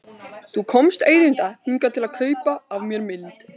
Þú komst auðvitað hingað til að kaupa af mér mynd.